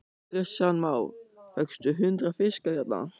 Kristján Már: Fékkstu hundrað fiska hérna?